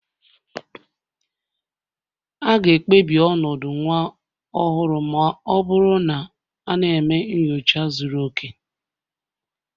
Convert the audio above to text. A ga-ekpebi ọnọdụ nwa ọhụrụ ma ọ bụrụ na a na-eme nyocha zuru oke